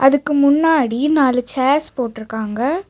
அதுக்கு முன்னாடி நாலு சேர்ஸ் போட்ருக்காங்க.